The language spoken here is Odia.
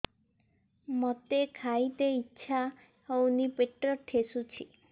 ମୋତେ ଖାଇତେ ଇଚ୍ଛା ହଉନି ପେଟ ଠେସୁଛି